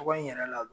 Tɔgɔ in yɛrɛ la